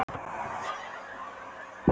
Sitja við eldhúsborðið og ræða um liðinn dag.